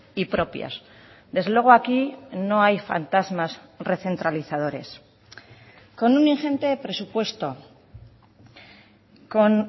y propias desde luego aquí no hay fantasmas recentralizadores con un ingente presupuesto con